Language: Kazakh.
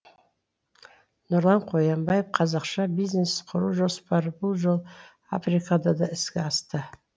нұрлан қоянбаев қазақша бизнес құру жоспары бұл жолы африкада да іске асты